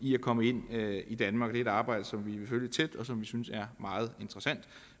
i at komme ind i danmark det er et arbejde som vi vil følge tæt og som vi synes er meget interessant